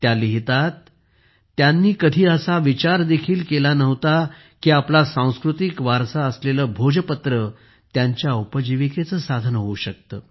त्या लिहितात त्यांनी कधी असा विचार देखील केला नव्हता की आपला सांस्कृतिक वारसा असलेले भोजपत्र त्यांच्या उपजीविकेचे साधन होऊ शकते